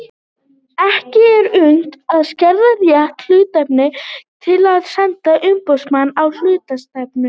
Ekki er unnt að skerða rétt hluthafa til þess að senda umboðsmann á hluthafafund.